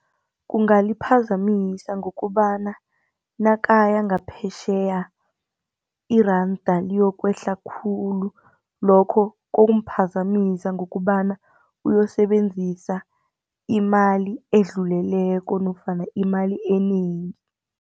Kungaliphazamisa ngokobana nakaya ngaphetjheya iranda liyokwehla khulu lokho kumphazamisa ngokobana uyosebenzisa imali edluleleko nofana imali enengi.